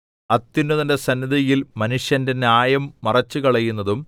അത്യുന്നതന്റെ സന്നിധിയിൽ മനുഷ്യന്റെ ന്യായം മറിച്ചുകളയുന്നതും